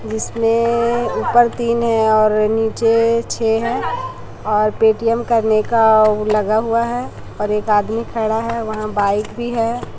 जिसमें ऊपर तीन है और नीचे छे है और पेटीएम करने का उ लगा हुआ है और एक आदमी खड़ा है वहाँ बाइक भी हैं।